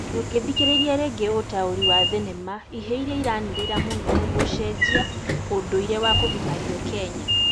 Ndũngĩ thikĩrĩria rĩngĩ ũtaũri wa thinema ihĩĩ iria iranĩrĩra mũno gũcenjia ũndũirĩ was kũgimario Kenya